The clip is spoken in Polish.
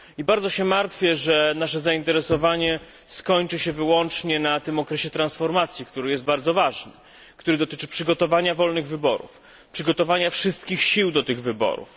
Bardzo się martwię, że nasze zainteresowanie skończy się wyłącznie na tym bardzo ważnym okresie transformacji, który dotyczy przygotowania wolnych wyborów, przygotowania wszystkich sił do tych wyborów.